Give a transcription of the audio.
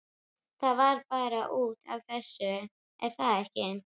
Það var bara út af þessu, er það ekki?